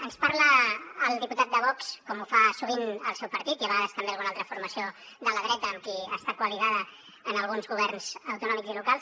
ens parla el diputat de vox com ho fa sovint el seu partit i a vegades també alguna altra formació de la dreta amb qui està aliat en alguns governs autonòmics i locals